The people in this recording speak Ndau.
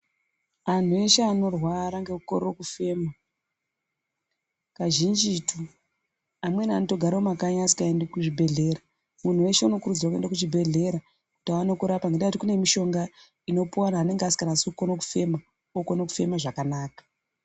Anthu eshe anorwara ngekukorere kufema, kazhinjitu ,amweni anotogare mumakanyi asikaendi kuzvibhedhlera. Muntu weshe unokurudzirwe kuende kuzvibhedhlera ngendaa yekuti ,kune mishonga inopuwa anhu anenga asikanasi kukone kefema, okone kufeme zvakanaka.